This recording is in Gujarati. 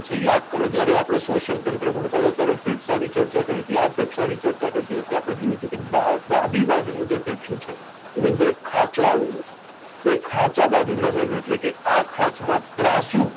યાદ કરો જયારે આપણે શોચીઅલ તંત્ર ભણતા હતા ત્યારે ફેફસા ની ચર્ચા કરી હતી કે આ ફેફસાની ચર્ચા કરતી વખતે આપણે જોયું તું કે ડાબી બાજુ નું જે ફેફસું છે એની અંદર એક ખાંચું આવેલું છે એ ખાંચા બાજુ નમેલું એટલે કે આ ખાંચમાં ત્રાંસુ